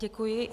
Děkuji.